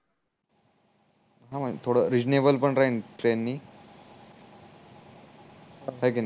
हम्म थोड रीसनेबल पण राहील ट्रेन नि हाय की नाही